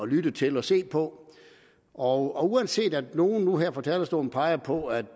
lytte til og se på og uanset at nogle nu her fra talerstolen peger på at